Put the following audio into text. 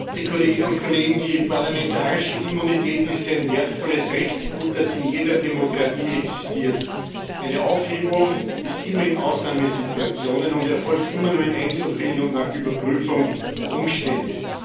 Herr Präsident, werte Kolleginnen und Kollegen! Die parlamentarische Immunität ist ein wertvolles Rechtsgut, das in jeder Demokratie existiert. Eine Aufhebung gibt es immer nur in Ausnahmesituationen und erfolgt immer nur in Einzelfällen und nach Überprüfung der Umstände.